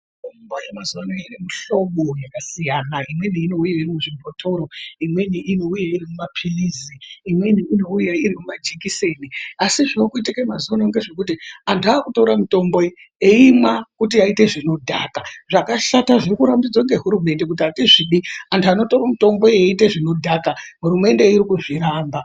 Mitombo yemazuwa anaa ine mihlobo yakasiyana imweni inouya iri muzvibhotoro imweni inouya iri mumapilizi, imweni inouya iri muumajikiseni asi zvaakuitike mazuwa ano ngezvekuti anthu aakutora mitombo iyi eimwa kutoite zvinodhaka zvakashata zviri kurambidzwa ngehurumende kuti atizvidi anthu anotora mitombo eiita zvinodhaka hurumende iri kuzviramba.